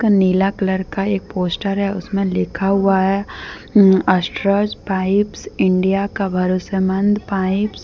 नीला colour का एक poster है उसमें लिखा हुआ है अस्ट्रल पाइप्स इंडिया का भरोसमंद पाइप --